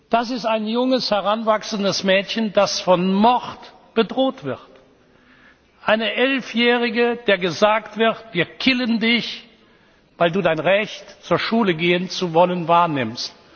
tun. Das ist ein junges, heranwachsendes Mädchen, das von Mord bedroht wird, eine Elfjährige, der gesagt wird Wir killen dich, weil du dein Recht, zur Schule gehen zu wollen, wahrnimmst.